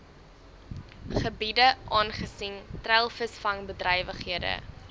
gebiede aangesien treilvisvangbedrywighede